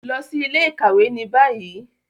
Lọ si ile-ikawe ni bayi